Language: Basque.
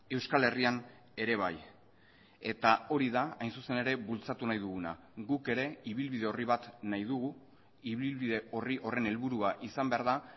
euskal herrian ere bai eta hori da hain zuzen ere bultzatu nahi duguna guk ere ibilbide orri bat nahi dugu ibilbide orri horren helburua izan behar da